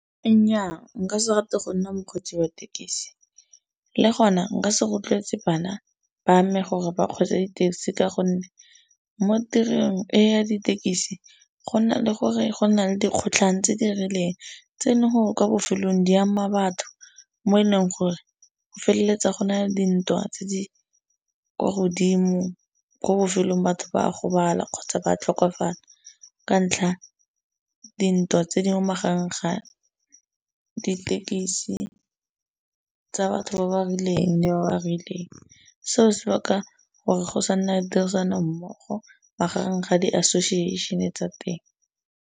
Nnyaa, nka se rate go nna mokgweetsi wa thekisi le gona nka se rotloetse bana ba me gore ba kgweetse di-taxi ka gonne mo tirong eno ya ditekisi go nna le gore go na le dikgotlhang tse di rileng tse ne gore kwa bofelong di ama batho mo e leng gore go feleletsa gona dintwa tse di kwa godimo ko bofelong batho ba gobala kgotsa ba tlhokofala ka ntlha dintwa tse di mo magaeng ga dithekisi tsa batho ba ba rileng le ba ba rileng. Seo se baka gore go sa nna tirisano mmogo magareng ga di-association tsa teng.